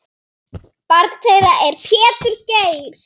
Barn þeirra er Pétur Geir.